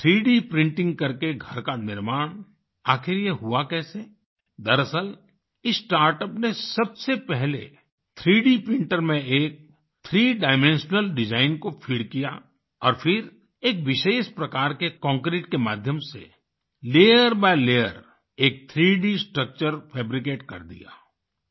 3D printing करके घर का निर्माण आखिर ये हुआ कैसे दरअसल इस स्टार्टअप ने सबसे पहले 3D प्रिंटर में एक 3 डाइमेंशनल डिजाइन को फीड किया और फिर एक विशेष प्रकार के कांक्रीट के माध्यम से लेयर बाय लेयर एक 3D स्ट्रक्चर फैब्रिकेट कर दिया